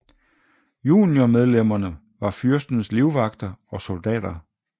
Juniormedlemmerne var fyrstens livvagter og soldater